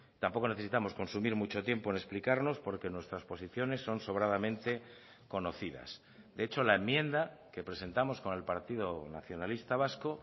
tampoco necesitamos consumir mucho tiempo en explicarnos porque nuestras posiciones son sobradamente conocidas de hecho la enmienda que presentamos con el partido nacionalista vasco